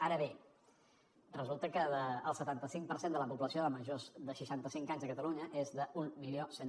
ara bé resulta que el setanta cinc per cent de la població de majors de seixanta cinc anys a catalunya és d’mil cent